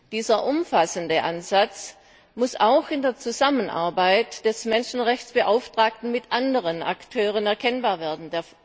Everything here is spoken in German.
Dieser umfassende Ansatz muss auch an der Zusammenarbeit des Menschenrechtsbeauftragten mit anderen Akteuren erkennbar werden.